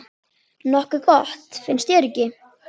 Nokkuð gott, finnst þér ekki?